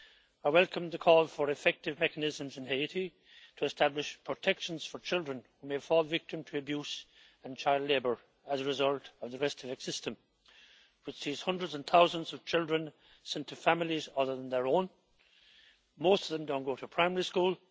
I welcome the call for effective mechanisms in Haiti to establish protection for children who may fall victim to abuse and child labour as a result of the restavek system, whereby hundreds and thousands of children are sent to families other than their own. Most of them don't go to primary school.